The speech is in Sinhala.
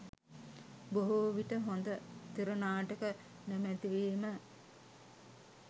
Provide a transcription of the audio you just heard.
බොහෝ විට හොඳ තිර නාටක නොමැති වීම